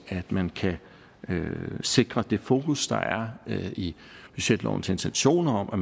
at man kan sikre det fokus der er i budgetlovens intentioner om at